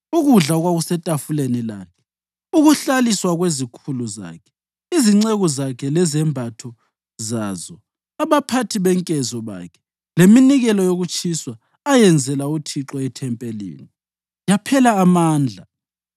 ukudla okwakusetafuleni lakhe, ukuhlaliswa kwezikhulu zakhe, izinceku zakhe lezembatho zazo, abaphathi benkezo bakhe, leminikelo yokutshiswa ayenzela uThixo ethempelini, yaphela amandla.